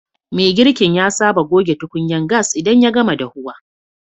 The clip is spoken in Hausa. Mai girkin ya saba gogen tukunyan gas idan ya gama dafuwa.